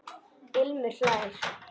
Ilmur hlær.